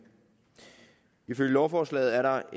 ifølge lovforslaget er der